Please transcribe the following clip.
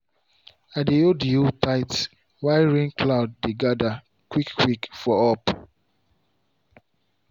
i hold the hoe tight while rain cloud dey gather quick quick for up.